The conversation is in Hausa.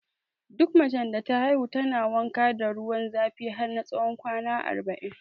Duk macen da ta haihu tana wanka da ruwan zafi har tsawon kwana arba'in